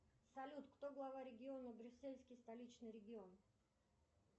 салют кто глава региона брюссельский столичный регион